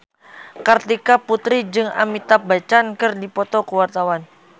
Kartika Putri jeung Amitabh Bachchan keur dipoto ku wartawan